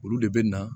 Olu de bɛ na